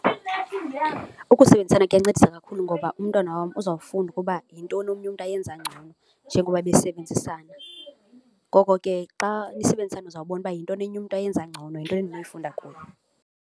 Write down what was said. Ukusebenzisana kuyancedisa kakhulu ngoba umntwana wam uzawufunda ukuba yintoni omnye umntu ayenza ngcono njengoba besebenzisana. Ngoko ke xa nisebenzisana uzawubona uba yintoni enye umntu ayenza ngcono, yintoni endinoyifunda kuye.